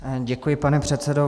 Děkuji, pane předsedo.